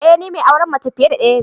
Ee ni mai auren mace fiye da daya